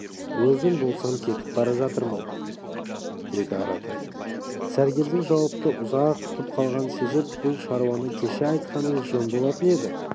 өзім болсам кетіп бара жатырмын деді аратай сәргелдің жауапты ұзақ күтіп қалғанын сезіп бұл шаруаны кеше айтқаныңыз жөн болатын еді